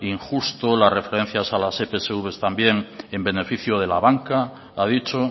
injusto las referencias a las epsv también en beneficio de la banca ha dicho